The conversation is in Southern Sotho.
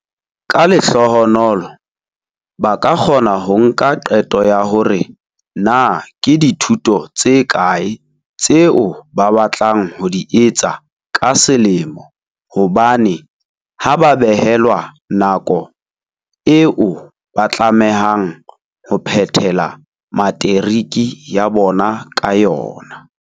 Ka lehlohonolo, ba ka kgona ho nka qeto ya hore na ke dithuto tse kae tseo ba batlang ho di etsa ka selemo hobane ha ba behelwa nako eo ba tlamehang ho phethela materiki ya bona ka yona.